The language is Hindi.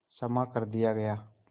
क्षमा कर दिया गया